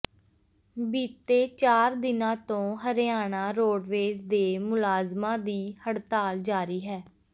ਬੀਤੇ ਚਾਰ ਦਿਨਾਂ ਤੋਂ ਹਰਿਆਣਾ ਰੋਡਵੇਜ਼ ਦੇ ਮੁਲਾਜ਼ਮਾਂ ਦੀ ਹੜਤਾਲ ਜਾਰੀ ਹੈ